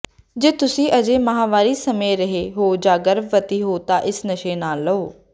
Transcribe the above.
ਜੇ ਤੁਸੀਂ ਅਜੇ ਮਾਹਵਾਰੀ ਸਮੇਂ ਰਹੇ ਹੋ ਜਾਂ ਗਰਭਵਤੀ ਹੋ ਤਾਂ ਇਸ ਨਸ਼ੇ ਨਾ ਲਓ